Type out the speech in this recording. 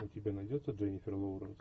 у тебя найдется дженнифер лоуренс